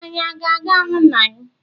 Anyị a ga-ahụ nna m?